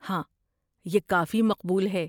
ہاں، یہ کافی مقبول ہے۔